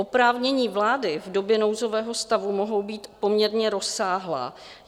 Oprávnění vlády v době nouzového stavu mohou být poměrně rozsáhlá.